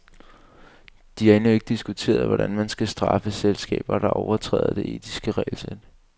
De har endnu ikke diskuteret, hvordan man skal straffe selskaber, der overtræder det etiske regelsæt.